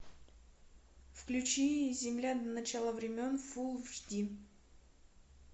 включи земля до начала времен фулл эйч ди